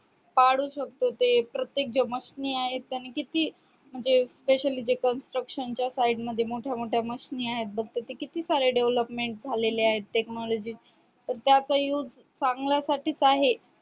पशु शकतो ते प्रत्येक जे machine आहेत त्याने किती म्हणजे specially जे construction च्या side मध्ये मोठ्यामोठ्या machine आहेत बघ तर ते किती सारे development झालेले आहेत technology चे तर त्याच्या use चांगल्यासाठीच आहे.